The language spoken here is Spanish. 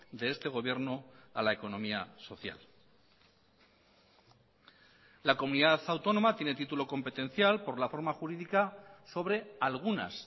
de este gobierno a la economía social la comunidad autónoma tiene título competencial por la forma jurídica sobre algunas